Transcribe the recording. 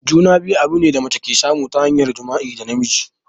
Juna-biyu abune da mace ke samu ta hanyar jima'i da namiji.